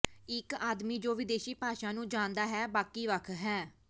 ਇਕ ਆਦਮੀ ਜੋ ਵਿਦੇਸ਼ੀ ਭਾਸ਼ਾ ਨੂੰ ਜਾਣਦਾ ਹੈ ਬਾਕੀ ਵੱਖ ਹੈ